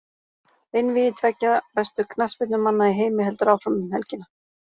Einvígi tveggja bestu knattspyrnumanna í heimi heldur áfram um helgina.